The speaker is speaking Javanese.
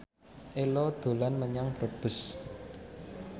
Ello dolan menyang Brebes